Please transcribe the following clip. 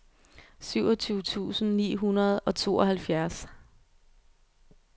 syvogtyve tusind ni hundrede og tooghalvfjerds